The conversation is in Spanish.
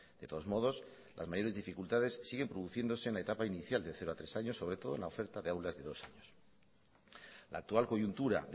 de todos modos las mayores dificultades siguen produciéndose en la etapa inicial de cero a tres años sobre todo en la oferta de aulas de dos años la actual coyuntura